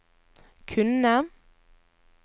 kunne